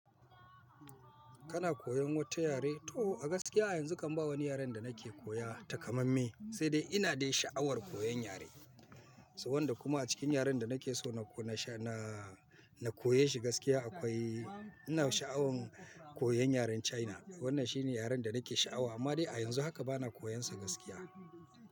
Kana koyon wata yare? To a gaskiya yanzu kam ba wani yaren da nake koya takamamme, sai dai ina da sha'awar koyan yare. Sau wanda kuma a cikin yaren da nake so na kona sha na, na koyeshi gaskiya akwai ina sha'awan koyan yaren China. Wannan shine yaren da nake sha'awa amma dai a yanzu haka bana koyonsa gaskiya.